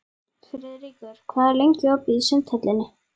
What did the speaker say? Friðríkur, hvað er lengi opið í Sundhöllinni?